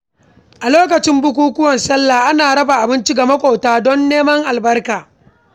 A lokacin bukukuwan salla ana raba abinci ga makwabta don neman albarka.